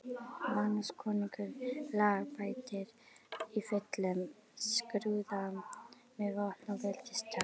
Magnús konungur lagabætir, í fullum skrúða með vopn og veldistákn.